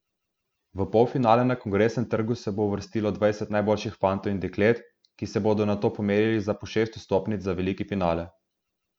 V polfinale na Kongresnem trgu se bo uvrstilo dvajset najboljših fantov in deklet, ki se bodo nato pomerili za po šest vstopnic za veliki finale.